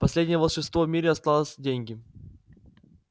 последнее волшебство в мире осталось деньги